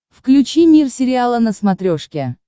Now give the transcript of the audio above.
включи мир сериала на смотрешке